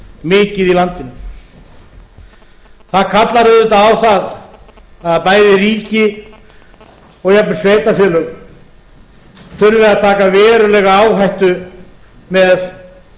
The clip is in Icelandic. mikið í landinu það kallar auðvitað á að bæði ríki og jafnvel sveitarfélög þurfi að taka verulega áhættu með